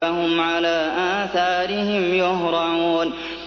فَهُمْ عَلَىٰ آثَارِهِمْ يُهْرَعُونَ